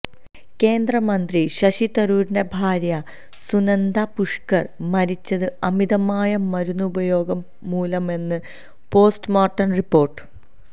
കേന്ദ്ര മന്ത്രി ശശി തരൂരിന്റെ ഭാര്യ സുനന്ദ പുഷ്കര് മരിച്ചത് അമിതമായ മരുന്ന് ഉപയോഗം മൂലമെന്ന് പോസ്റ്റ് മോര്ട്ടം റിപ്പോര്ട്ട്